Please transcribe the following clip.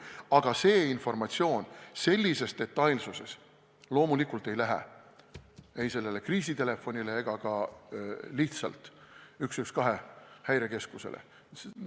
Aga see informatsioon sellises detailsuses loomulikult ei lähe ei kriisitelefonile ega ka lihtsalt Häirekeskuse telefonile 112.